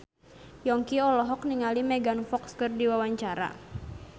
Yongki olohok ningali Megan Fox keur diwawancara